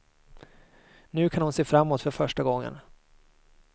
Nu kan hon se framåt för första gången.